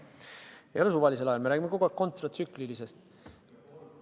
Ei ole suvalisel ajal, me räägime kogu aeg kontratsüklilisest.